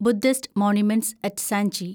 Buddhist monuments at Sanchi